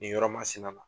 Nin yɔrɔ masina